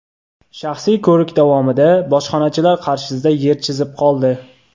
shaxsiy ko‘rik davomida bojxonachilar qarshisida yer chizib qoldi.